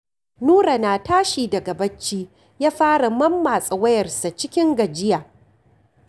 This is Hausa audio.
Nura na tashi daga bacci, ya fara mammatsa wuyansa cikin gajiya